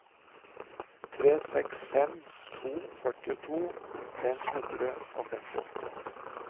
tre seks fem to førtito fem hundre og femtiåtte